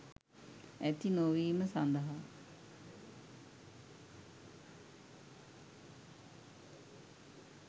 ඇති නොවීම සඳහා